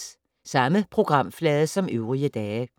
Samme programflade som øvrige dage